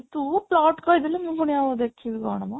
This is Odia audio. ତୁ plot କହିଦେଲେ ମୁଁ ପୁଣି ଆଉ ଦେଖିବି କ'ଣ ମ